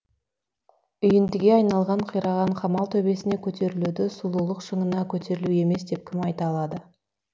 үйіндіге айналған қираған қамал төбесіне көтерілуді сұлулық шыңына көтерілу емес деп кім айта алады